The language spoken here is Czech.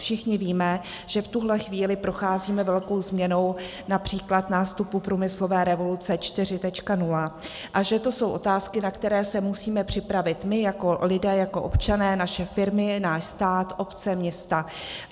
Všichni víme, že v tuhle chvíli procházíme velkou změnou, například nástupu průmyslové revoluce 4.0, a že to jsou otázky, na které se musíme připravit my jako lidé, jako občané, naše firmy, náš stát, obce, města.